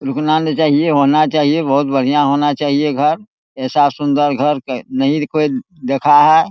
रुकना नहीं चाहिए होना चाहिए बहुत बढ़िया होना चाहिए घर ऐसा सुंदर घर नही कोई देखा है ।